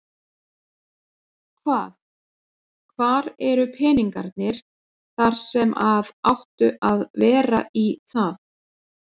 Hvað, hvar eru peningarnir þar sem að áttu að vera í það?